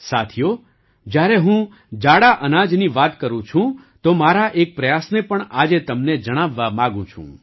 સાથીઓ જ્યારે હું જાડા અનાજની વાત કરું છુ તો મારા એક પ્રયાસને પણ આજે તમને જણાવવા માગું છું